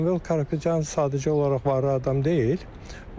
Samvel Karapetyan sadəcə olaraq varlı adam deyil.